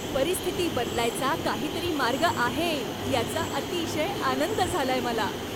परिस्थिती बदलायचा काहीतरी मार्ग आहे याचा अतिशय आनंद झालाय मला.